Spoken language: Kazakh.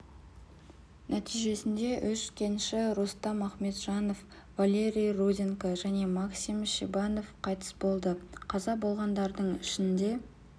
нәтижесінде үш кенші рустам ахметжанов валерий руденко және максим шебанов қайтыс болды қаза болғандардың ішінде